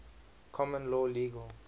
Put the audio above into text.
common law legal